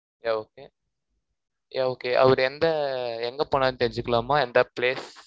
yeah okay yeah okay அவரு எந்த, எங்க போனாருன்னு தெரிஞ்சுக்கலாமா? எந்த place